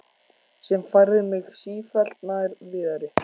Sem færði mig sífellt nær Viðari.